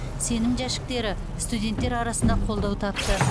сенім жәшіктері студенттер арасында қолдау тапты